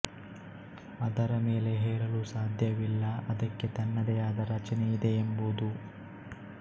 ಅದರ ಮೇಲೆ ಹೇರಲು ಸಾಧ್ಯವಿಲ್ಲ ಅದಕ್ಕೆ ತನ್ನದೆ ಆದ ರಚನೆಯಿದೆಯೆಂಬುದು